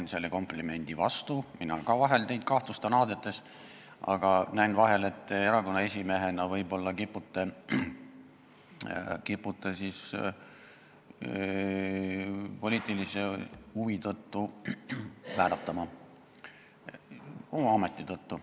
Ma teen komplimendi vastu: mina ka vahel kahtlustan teid aadete omamises, aga vahel näen, et te erakonna esimehena oma ameti tõttu, poliitilise huvi tõttu kipute võib-olla vääratama.